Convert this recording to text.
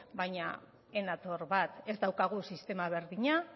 baina ez nator bat ez daukagu sistema berdina